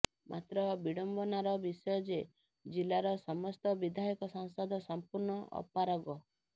ମାତ୍ର ବିଡମ୍ବନାର ବିଷୟ ଯେ ଜିଲ୍ଲାର ସମସ୍ତ ବିଧାୟକ ସାଂସଦ ସମ୍ପୂର୍ଣ୍ଣ ଅପାରଗ